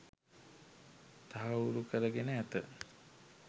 තහවුරු කරගෙන ඇත